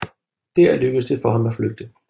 Der lykkedes det for ham at flygte